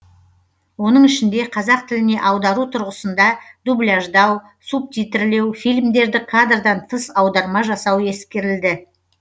оның ішінде қазақ тіліне аудару тұрғысында дубляждау субтитрлеу фильмдерді кадрдан тыс аударма жасау ескерілді